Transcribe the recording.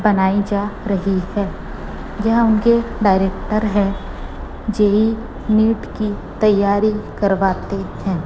बनाई जा रही है। यह उनके डायरेक्टर है नीट की तैयारी करवाते हैं।